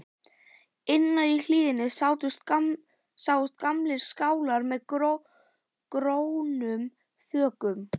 Innar í hlíðinni sáust gamlir skálar með grónum þökum.